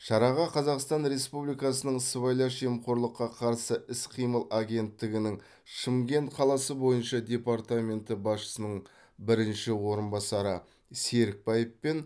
шараға қазақстан республикасының сыбайлас жемқорлыққа қарсы іс қимыл агенттігінің шымкент қаласы бойынша департаменті басшысының бірінші орынбасары серікбаев пен